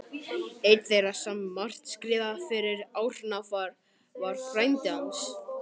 Einn þeirra sem margt skrifaði fyrir Árna var frændi hans